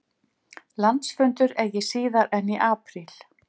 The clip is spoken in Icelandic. Landsfundur eigi síðar en í apríl